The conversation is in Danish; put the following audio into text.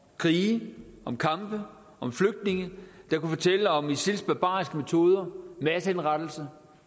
krige om kampe om flygtninge der kunne fortælle om isils barbariske metoder massehenrettelser